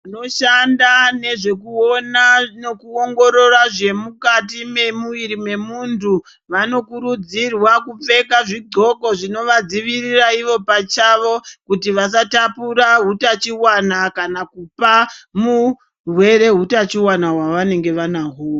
Noshanda nezvekuona nekuongorora zve mukati memuwiri memuntu vanokurudzirwa kupfeka zvidxoka zvinovadzivirira ivo pachawo kuti vasatapura hutachiwana kana kupa murwere hutachiwana hwavanenge vanahwo.